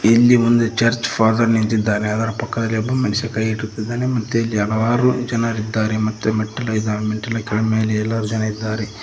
ಇಲ್ಲಿ ಒಂದು church father ನಿಂತಿದ್ದಾನೆ ಅದರ ಪಕ್ಕದಲ್ಲಿ ಒಬ್ಬ ಮನುಷ್ಯ ಕೈ ಇಟ್ಟುಕೊಂಡಿದ್ದಾನೆ ಮತ್ತೆ ಇಲ್ಲಿ ಹಲವಾರು ಜನರು ಇದ್ದಾರೆ ಮತ್ತು ಮೆಟ್ಟಿಲು ಇದೆ ಮೆಟ್ಟಿಲ ಮೇಲೆ ಎಲ್ಲರೂ ಜನ ಇದ್ದಾರೆ.